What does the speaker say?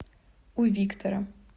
у виктора